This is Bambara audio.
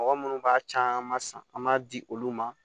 Mɔgɔ munnu b'a caman san an b'a di olu ma